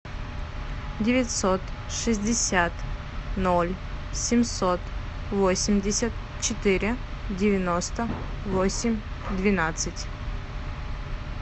девятьсот шестьдесят ноль семьсот восемьдесят четыре девяносто восемь двенадцать